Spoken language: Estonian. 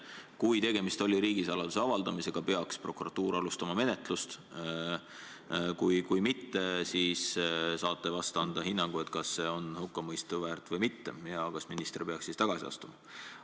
Kui tegemist oli riigisaladuse avaldamisega, peaks prokuratuur alustama menetlust, kui mitte, siis saate ehk anda hinnangu, kas see on hukkamõistu väärt või mitte ja kas minister peaks siis tagasi astuma.